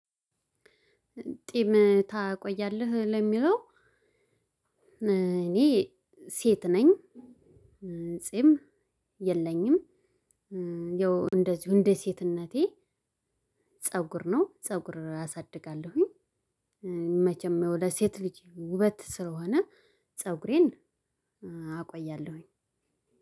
ጼም ታቆያለህ ለሚለው? እኔ ሴት ነኝ ጼም የለኝም። ያው እንደዚሁ እንደ ሴትነቴ። ፀጉር ነው ፀጉር አሳድጋለሁኝ። መቸም ያው ለሴት ልጅ ውበት ስለሆነ ፀጉሬን አቆያለሁኝ።